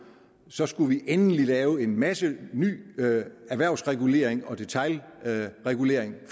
så skulle vi endelig også lave en masse ny erhvervsregulering og detailregulering i